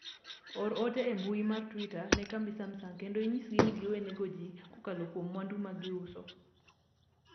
or ote e mbui mar twita ne kambi samsung kendo inyisgi ni giwe nego jii kokalo kuom mwandu ma giuso